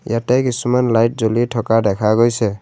ইয়াতে কিছুমান লাইট জ্বলি থকা দেখা গৈছে।